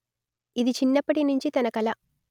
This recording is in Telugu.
ఇది చిన్నప్పటి నుంచి తన కల